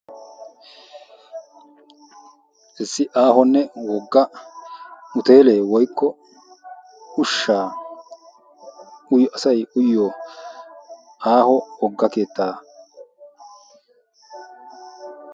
iisi aho hoteelee woykko asay ushshaa uyoo aaho wogga keettaa